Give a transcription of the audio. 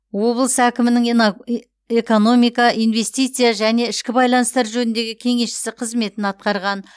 облыс әкімінің ина экономика инвестиция және ішкі байланыстар жөніндегі кеңесшісі қызметін атқарған